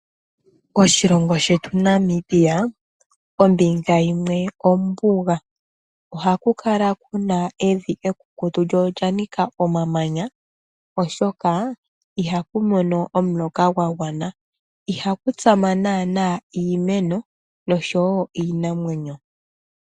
Moshilongo shetu Namibia, ombinga yimwe ombuga. Ohaku kala ku na evi ekukutu lyo olya nika omamanya oshoka ihaku mono omuloka gwa gwana. Ihaku tsama naana iimeno oshowo iinamwenyo.